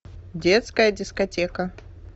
детская дискотека